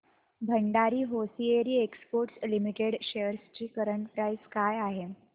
Bhandari hosiery exports limited shares ची current price काय आहे